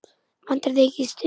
Vantar þig ekki stuð?